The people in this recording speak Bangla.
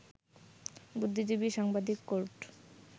বুদ্ধিজীবী, সাংবাদিক, কোর্ট